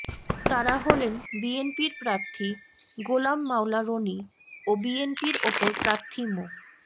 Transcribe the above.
তারা হলেন বিএনপির প্রার্থী গোলাম মাওলা রনি ও বিএনপির অপর প্রার্থী মো